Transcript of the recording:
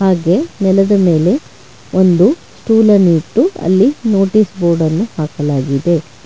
ಹಾಗೇ ನೆಲದ ಮೇಲೆ ಒಂದು ಸ್ಟೂಲ್ ಅನ್ನು ಇಟ್ಟು ಅಲ್ಲಿ ನೋಟಿಸ್ ಬೋರ್ಡ್ ಅನ್ನು ಹಾಕಲಾಗಿದೆ.